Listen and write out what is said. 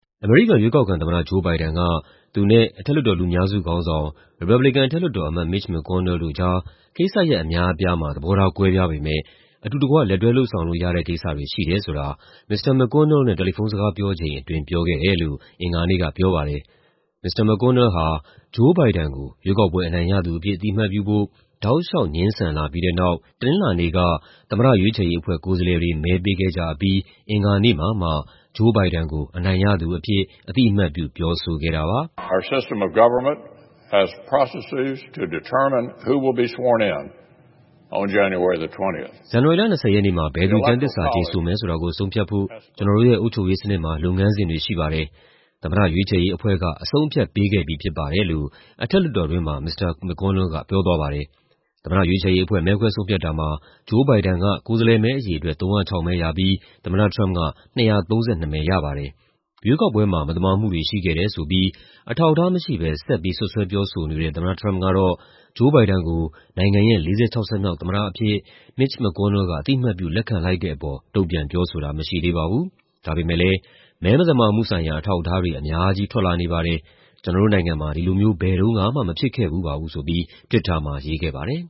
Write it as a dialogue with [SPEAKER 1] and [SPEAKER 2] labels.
[SPEAKER 1] အမေရိကန် ရွေးကောက်ခံသမ္မတ Joe Biden က သူနဲ့ အထက်လွှတ်တော် လူများစုခေါင်းဆောင် ရီပတ်ဘလီကန် အထက်လွှတ်တော်အမတ် Mitch McConnell တို့ကြား ကိစ္စရပ်အများအပြားမှာ သဘောထားကွဲပြားပေမဲ့ အတူတကွ လက်တွဲလုပ်ဆောင်လို့ရတဲ့ကိစ္စတွေ ရှိတယ်ဆိုတာ မစ္စတာ McConnell နဲ့ တယ်လီဖုန်းစကားပြောချိန်အတွင်း ပြောခဲ့တယ်လို့ အင်္ဂါနေ့ကပြောပါတယ်။ မစ္စတာ McConnell ဟာ Joe Biden ကို ရွေးကောက်ပွဲအနိုင်ရသူအဖြစ် အသိအမှတ်ပြုဖို့ တောက်လေ ျှာက် ငြင်းဆန်လာပြီးတဲ့နောက် တနင်္လာနေ့က သမ္မတရွေးချယ်ရေးအဖွဲ့ ကိုယ်စားလှယ်တွေ မဲပေးခဲ့ကြအပြီး အင်္ဂါနေ့မှာမှ Joe Biden ကို အနိုင်ရသူအဖြစ် အသိအမှတ်ပြု ပြောဆိုခဲ့တာပါ။
[SPEAKER 2] "ဇန်နဝါရီလ ၂၀ ရက်နေ
[SPEAKER 1] ့မှာ ဘယ်သူ ကျမ်းသစ္စာကျိန်ဆိုမယ်ဆိုတာကို ဆုံးဖြတ်ဖို့ ကျနော်တို့ရဲ့ အုပ်ချုပ်ရေးစနစ်မှာ လုပ်ငန်းစဉ်တွေရှိပါတယ်။ သမ္မတရွေးချယ်ရေးအဖွဲ့က အဆုံးအဖြတ်ပေးခဲ့ပြီးဖြစ်ပါတယ်။" လို့ အထက်လွှတ်တော်ထဲမှာ မစ္စတာ McConnell က ပြောသွားပါတယ်။ သမ္မတရွေးချယ်ရေးအဖွဲ့ မဲခွဲဆုံးဖြတ်တာမှာ Joe Biden က ကိုယ်စားလှယ်မဲအရေအတွက် ၃၀၆ မဲရပြီး သမ္မတထရမ့်ပ်က ၂၃၂ မဲရပါတယ်။ ရွေးကောက်ပွဲမှာ မသမာမှုတွေရှိခဲ့တယ်ဆိုပြီး အထောက်အထားမရှိဘဲ ဆက်ပြီး စွပ်စွဲပြောဆိုနေတဲ့ သမ္မတထရမ့်ပ်ကတော့ Joe Biden ကို နိုင်ငံရဲ့ ၄၆ ဆက်မြောက်သမ္မတအဖြစ် Mitch McConnell က အသိအမှတ်ပြု လက်ခံလိုက်တဲ့အပေါ် တုံ့ပြန်ပြောဆိုတာ မရှိသေးပါဘူး။ ဒါပေမဲ့လည်း "မဲမသမာမှုဆိုင်ရာ အထောက်အထားတွေ အများကြီး ထွက်လာနေပါတယ်။ ကျနော်တို့နိုင်ငံမှာ ဒီလိုမျိုး ဘယ်တုန်းကမှ မဖြစ်ခဲ့ဖူးပါဘူး။" ဆိုပြီး Twitter မှာရေးခဲ့ပါတယ်